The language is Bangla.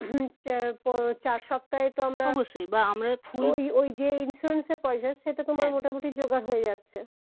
চার সপ্তাহে তো আমরা অবশ্যই বা আমরা ফুল ঐ ঐ যে insurance সেটা তোমার মোটামুটি যোগাড় হয়ে যাচ্ছে